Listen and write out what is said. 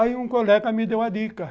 Aí um colega me deu uma dica.